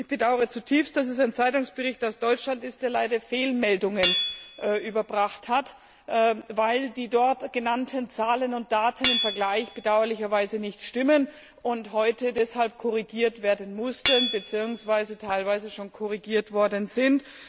Ich bedaure zutiefst, dass es ein Zeitungsbericht aus Deutschland ist, der leider Fehlmeldungen überbracht hat, weil die dort genannten Zahlen und Daten im Vergleich bedauerlicherweise nicht stimmen und heute deshalb korrigiert werden mussten bzw. teilweise schon korrigiert worden sind.